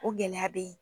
O gɛlɛya bɛ yen